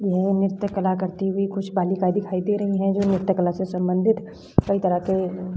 यह नृत्य कला करती हुई कुछ बालिका दिखाई दे रहीं हैं जो नृत्य कला से संबंधित कई तरह के --